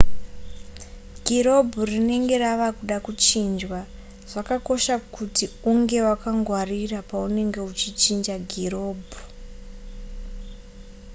girobhu rinenge rava kuda kuchinjwa zvakakosha kuti unge wakangwarira paunenge uchichinja girobhu